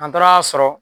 An taara'a sɔrɔ